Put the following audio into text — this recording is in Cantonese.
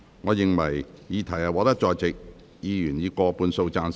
我認為議題獲得在席議員以過半數贊成。